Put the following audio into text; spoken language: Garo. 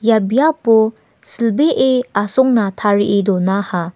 ia biapo silbee asongna tarie donaha.